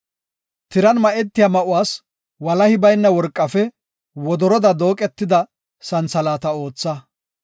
“Tiran ma7etiya ma7uwas walahi bayna worqafe wodoroda dooqada santhalaata ootha.